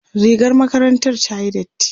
rigar makarantar ta tayi dati